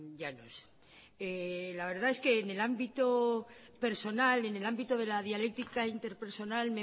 llanos la verdad es que en el ámbito personal en el ámbito de la dialéctica interpersonal